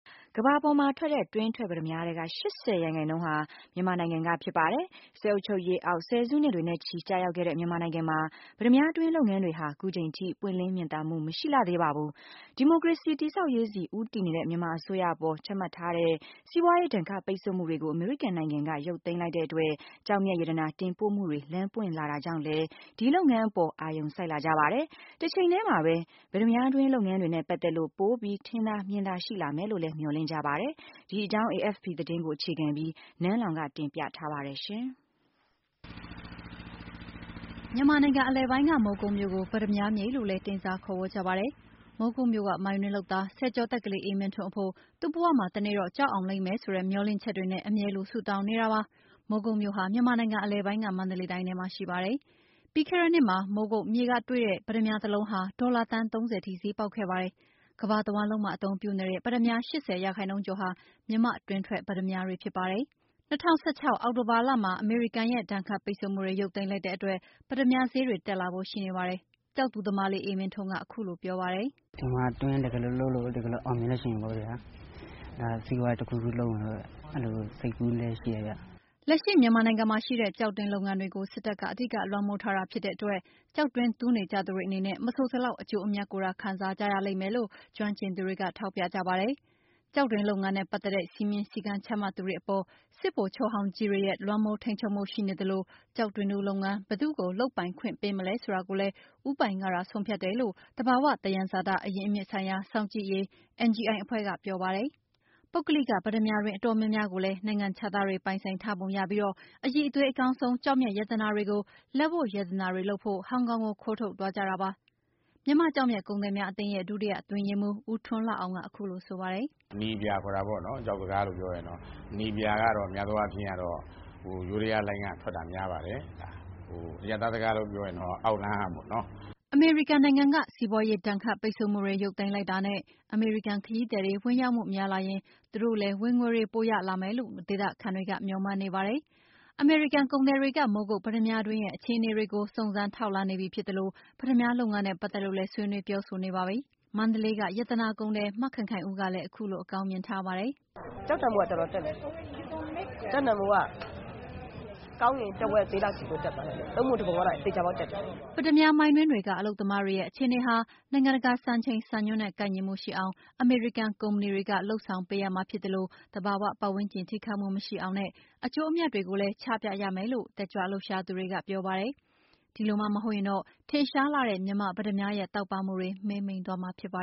ကမ္ဘာပေါ်မှာထွက်တဲ့ တွင်းထွက်ပတ္တမြားထဲက ၈၀% ဟာမြန်မာနိုင်ငံက ဖြစ်ပါတယ်။ စစ်အုပ်ချုပ်ရေးအောက် ဆယ်စုနှစ်တွေနဲ့ချီ ကျရောက်ခဲ့တဲ့မြန်မာနိုင်ငံမှာ ပတ္တမြားတွင်းလုပ်ငန်းတွေဟာ ခုချိန်ထိ ပွင့်လင်းမြင်သာမှု မရှိလှသေးပါဘူး။ ဒီမိုကရေစီတည်ဆောက်ရေးဆီ ဦးတည်နေတဲ့ မြန်မာအစိုးရအပေါ် ချမှတ်ထားတဲ့ စီးပွါးရေးဒဏ်ခတ်ပိတ်ဆို့မှုတွေကို အမေရိကန်နိုင်ငံက ရုပ်သိမ်းလိုက်တဲ့အတွက် ကျောက်မျက်ရတနာ တင်ပို့မှုတွေ လမ်းပွင့်လာတာကြောင့်လည်း ဒီလုပ်ငန်းအပေါ် အာရုံစိုက်လာကြပါတယ်။ တချိန်ထဲမှာပဲ ပတ္တမြားတွင်းလုပ်ငန်းတွေနဲ့ပါတ်သက်လို့ ပိုပြီးထင်သာမြင်သာရှိလာမယ်လို့လည်း မျှော်လင့်နေကြပါတယ်။ ဒီအကြောင်း AFP သတင်းကိုအခြေခံပြီး နန်းလောင်ဝ်က တင်ပြထားပါတယ်။ မြန်မာနိုင်ငံအလယ်ပိုင်းက မိုးကုတ်မြို့ကို ပတ္တမြားမြေလို့လည်း တင်စား ခေါ်ဝေါ် ကြပါတယ်။ မိုးကုတ်မြို့က မိုင်းတွင်းလုပ်သား၊ ဆယ်ကျော်သက် ကလေးအေးမင်းထွန်း အဖို့ သူ့ဘဝမှာ တနေ့တာ့ ကျောက်အောင်လိမ့်မယ်ဆိုတဲ့ မျှော်လင့်ချက်တွေနဲ့ အမြဲလို ဆုတောင်းနေပါတယ်။ မိုးကုတ်မြို့ဟာ မြန်မာနိုင်ငံအလယ်ပိုင်းက မန္တလေးတိုင်းထဲမှာရှိပါတယ်။ ပြီးခဲ့တဲ့နှစ်က မိုးကုတ်မြို့ မှာတွေ့တဲ့ ပတ္တမြားတလုံးဟာ ဒေါ်လာ သန်း ၃၀ ဈေးပေါက်ခဲ့ပါတယ်။ ကမ္ဘာတဝှမ်းလုံးမှာ အသုံးပြုနေတဲ့ ပတ္တမြား ၈၀% ကျော်ဟာမြန်မာ့တွင်းထွက် ပတ္တမြားတွေဖြစ်ပါတယ်။ ၂၀၁၆ အောက်တိုဘာလမှာ အမေရိကန်ရဲ့ ဒဏ်ခတ်ပိတ်ဆို့မှုတွေရုပ်သိမ်းလိုက်တဲ့အတွက် ပတ္တမြားဈေးတွေ တက်လာဖို့ရှိနေပါတယ်။ ကျောက်တူးသမားလေး အေးမင်းထွန်း ကလည်း အခုလိုပြောပါတယ်။ “ဒီမှာတူးရင်း တကယ်လို့ လုပ်လို့အောင်မြင်လာရင် စီးပွားရေးတခုခုလုပ်မယ်လို့ စိတ်ကူးလည်းရှိတယ်။” လက်ရှိမြန်မာနိုင်ငံမှာရှိတဲ့ ကျောက်တွင်းလုပ်ငန်းတွေကို စစ်တပ်က အဓိကလွှမ်းမိုးထားတာဖြစ်တဲ့အတွက် ကျောက်တွင်းတူးနေကြသူတွေအနေနဲ့ မဆိုစလောက် အကျိုးအမြတ်ကိုသာခံစားကြရလိမ့်မယ်လို့ ကျွမ်းကျင်သူတွေက ထောက်ပြကြပါတယ်။ ကျောက်တွင်းလုပ်ငန်းနဲ့ပါတ်သက်တဲ့ စည်းမျဉ်းစည်းကမ်းချမှတ်သူတွေအပေါ် စစ်ဗိုလ်ချုပ်ဟောင်းကြီးတွေရဲ့ လွှမ်းမိုးထိန်းချုပ်မှုရှိနေသလို ကျောက်တွင်းတူးလုပ်ငန်း ဘယ်သူ့ကို လုပ်ပိုင်ခွင့်ပေးမလဲဆိုတာကိုလဲ ဦးပိုင်ကသာ ဆုံးဖြတ်တယ်လို့ သဘာဝသယံဇာအရင်းအမြစ်ဆိုင်ရာ စောင့်ကြည့်ရေး NGI အဖွဲ့က ပြောပါတယ်။ ပုဂ္ဂလိက ပတ္တမြားတွင်းအတော်များများကိုလည်း နိုင်ငံခြားသားတွေပိုင်ဆိုင်ထားပုံရပြီး အရည်အသွေး အကောင်းဆုံး ကျောက်မျက်ရတာနာတွေကို လက်ဝတ်ရတနာလုပ်ဖို့ ဟောင်ကောင်ကို ခိုးထုတ်သွားကြတာပါ။ မြန်မာ့ကျောက်မျက် ကုန်သည်များအသင်းရဲ့ ဒုတိယအတွင်းရေးမှူး ဦးထွန်းလှအောင်က အခုလို ဆိုပါတယ်။ “အနီအပြာခေါ်တာပေါ့နော် ကျောက်စကားနဲ့ပြောရင် အနီအပြာကတော့ များသောအားဖြင့်ကတော့ ယိုးဒယားလိုင်းကထွက်တာများပါတယ် အရပ်သားစကားနဲ့ဆိုရင်တော့ အောက်လမ်းကပေါ့နော်။” အမေရိကန်နိုင်ငံက စီးပါွးရေးဒဏ်ခတ်မှု ရုပ်သိမ်းလိုက်တာနဲ့ အမေရိကန် ခရီးသည် ဝင်ရောက်မှုများလာရင် သူတို့လည်း ငွေရွှင်မယ်လို့ဒေသခံတွေက မျှော်မှန်းနေပါတယ်။ အမေရိကန်ကုသည်တွေက မိုးကုတ်ပတ္တမြားတွင်းတွေရဲ့အခြေအနေကို စုံစမ်းထောက်လှမ်းပြီးဖြစ်သလို ပတ္တမြားလုပ်ငန်းနဲ့ပတ်သက်လို့လည် ဆွေးနွေးပြောဆိုနေပါပြီ။ မန္တလေးရတာနာကုန်သည် မခင်ခင်ဦးကလည်း အခုလို အကောင်းမြင်ထားပါတယ်။ “ ကျောက်တန်ဖိုးက တော်တော်တက်တယ်။ ကျောက်တန်ဖိုးက ကောင်းလို့ရှိရင် တဝက်ဈေးလောက်ကိုတက်သွားတာ။ ၃ ပုံ ၁ ပုံကတော့ သေချာပေါက်လောက်တက်တယ်။” ပတ္တမြားမိုင်းတွင်းတွေက အလုပ်သမားတွေရဲ့အခြေအနေဟာ နိုင်ငံတကာ စံချိန်စံနှုန်းနဲ့ ကိုက်ညီရှိအောင် အမေရိကန် ကုမ္ပဏီတွေက လုပ်ဆောင်ပေးရမှာ ဖြစ်သလို သဘာဝပတ်ဝန်းကျင် ထိခိုက်မှုမရှိအောင်လုပ်ဖို့နဲ့ အကျိုးအမြတ်တွေကိုလည်း ချပြရမယ်လို့ တက်ကြွလှုပ်ရှားသူတွေကပြောပါတယ်။ ဒီလိုမှမဟုတ်ရင်တော့ ထင်ရှားလှတဲ့ မြန်မာ့ ပတ္တမြားရဲ့ တောက်ပမှုတွေ မှေးမှိန်သွားမှာဖြစ်ပါ